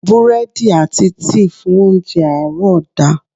Búrẹ́dì àti tíì fún óńjẹ àárọ̀ da.